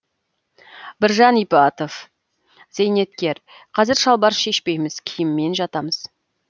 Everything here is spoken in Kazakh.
біржан ибатов зейнеткер қазір шалбар шешпейміз киіммен жатамыз